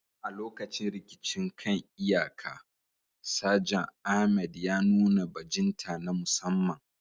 A lokacin rikicin kan iyaka, Sajan Ahmed ya nuna bajinta na musamman.